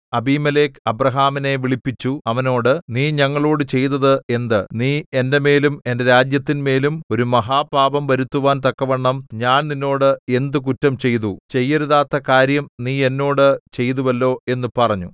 അബീമേലെക്ക് അബ്രാഹാമിനെ വിളിപ്പിച്ചു അവനോട് നീ ഞങ്ങളോട് ചെയ്തത് എന്ത് നീ എന്റെമേലും എന്റെ രാജ്യത്തിന്മേലും ഒരു മഹാപാപം വരുത്തുവാൻ തക്കവണ്ണം ഞാൻ നിന്നോട് എന്ത് കുറ്റം ചെയ്തു ചെയ്യരുതാത്ത കാര്യം നീ എന്നോട് ചെയ്തുവല്ലോ എന്നു പറഞ്ഞു